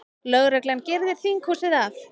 Lögreglan girðir þinghúsið af